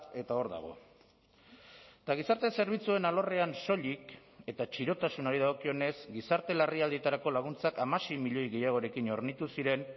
eta hor dago eta gizarte zerbitzuen alorrean soilik eta txirotasunari dagokionez gizarte larrialdietarako laguntzak hamasei milioi gehiagorekin hornitu ziren